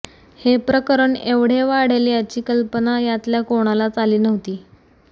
हे प्रकरण एवढे वाढेल याची कल्पना यातल्या कोणालाच आली नव्हती